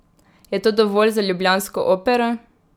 Je to dovolj za ljubljansko Opero?